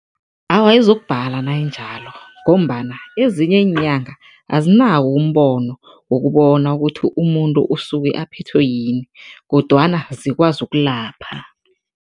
Awa, izokubhala nayinjalo ngombana ezinye iinyanga, azinawo umbono wokubona ukuthi umuntu usuke aphethwe yini kodwana zikwazi ukulapha.